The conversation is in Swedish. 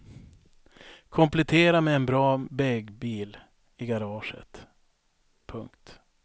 Komplettera med en bra beg bil i garaget. punkt